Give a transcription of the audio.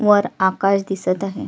वर आकाश दिसत आहे.